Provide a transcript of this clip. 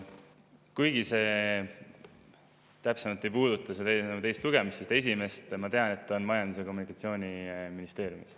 Kuigi see täpselt ei puuduta selle eelnõu teist lugemist, ütlen: ma tean, et esimene on Majandus- ja Kommunikatsiooniministeeriumi all.